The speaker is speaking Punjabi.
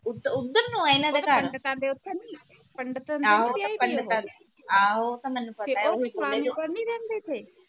ਓਧਰ ਨੂੰ ਆ ਇਹਨਾਂ ਦਾ ਘਰ